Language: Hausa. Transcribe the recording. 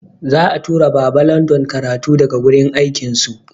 Za'a tura Baba London karatu daga wurin akin su.